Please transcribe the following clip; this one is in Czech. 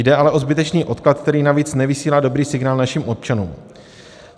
Jde ale o zbytečný odklad, který navíc nevysílá dobrý signál našim občanům.